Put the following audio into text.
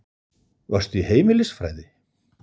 Varstu í heimilisfræði?